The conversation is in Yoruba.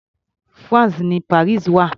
France ni Paris wà.